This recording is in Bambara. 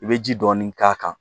I bɛ ji dɔɔni k'a kan